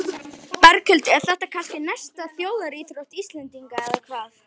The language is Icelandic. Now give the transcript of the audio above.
Berghildur, er þetta kannski næsta þjóðaríþrótt Íslendinga eða hvað?